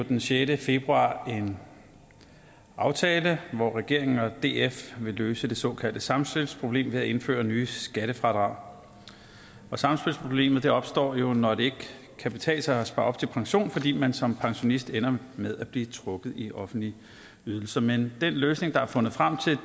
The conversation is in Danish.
den sjette februar en aftale hvor regeringen og df vil løse det såkaldte samspilsproblem ved at indføre nye skattefradrag samspilsproblemet opstår jo når det ikke kan betale sig at spare op til pension fordi man som pensionist ender med at blive trukket i offentlige ydelser men den løsning der er fundet frem til